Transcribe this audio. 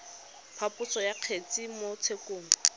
phaposo ya kgetse mo tshekong